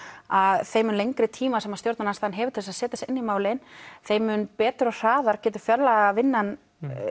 að þeim mun lengri tíma sem stjórnarandstaðan hefur til að setja sig inn í málin þeim mun betur og hraðar getur fjárlagavinnan